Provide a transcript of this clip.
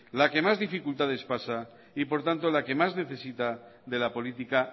la que más dificultades pasa y por lo tanto la que más necesita de la política